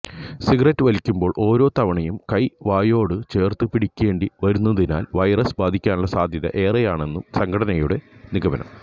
cigarette വലിക്കുമ്പോള് ഓരോ തവണവും കൈ വായോടു ചേര്ത്തു പിടിക്കേണ്ടി വരുന്നതിനാല് വൈറസ് ബാധിക്കാനുള്ള സാധ്യത ഏറെയാണെന്നാണു സംഘടനയുടെ നിഗമനം